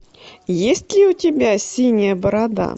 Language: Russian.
есть ли у тебя синяя борода